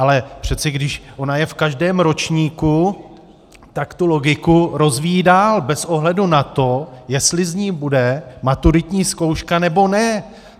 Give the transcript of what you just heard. Ale přece když ona je v každém ročníku, tak tu logiku rozvíjí dál bez ohledu na to, jestli z ní bude maturitní zkouška, nebo ne.